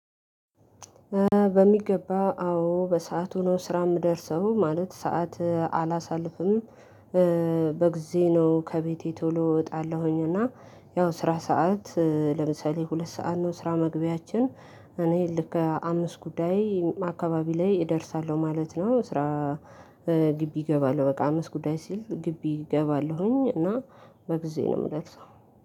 በሚገባ አዎ በሰአቱ ነው ስራ የምደርሰው ማለት ሰዓት አላሳልፍም። በጊዜ ነው ከቤቴ ቶሎ እወጣለሁኝ እና ያው ስራ ሰዓት ለምሳሌ ሁለት ሰዓት ነው ስራ መግቢያችን። እኔ ልክ አምስት ጉዳይ አካባቢ ላይ እደርሳለሁ ማለት ነው። ስራ ግቢ እገባለሁ በቃ አምስት ጉዳይ ሲል ግቢ እገባለሁኝ። እና በጊዜ ነው የምለሰው